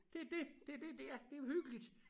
Det det det det er det jo hyggeligt